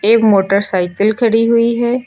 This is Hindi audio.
एक मोटरसाइकिल खड़ी हुई है।